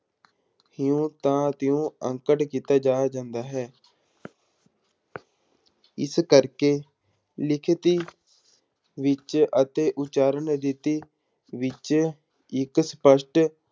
ਤਿਉਂ ਦਾ ਤਿਉਂ ਅੰਕਤ ਕੀਤਾ ਜਾਇਆ ਜਾਂਦਾ ਹੈ ਇਸ ਕਰਕੇ ਲਿਖਤੀ ਵਿੱਚ ਅਤੇ ਉਚਾਰਨ ਵਿੱਚ ਇੱਕ ਸਪਸ਼ਟ